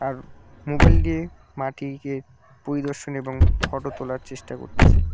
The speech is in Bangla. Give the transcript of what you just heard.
কারোর মোবাইল দিয়ে মা টিকে পরিদর্শন এবং ফটো তোলার চেষ্টা করতেছে।